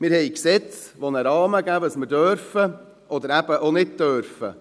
Wir haben Gesetze, die einen Rahmen geben, was man darf oder eben nicht darf.